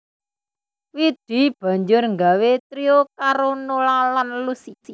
Widi banjur nggawé trio karo Nola lan Lusi